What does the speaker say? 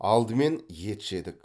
алдымен ет жедік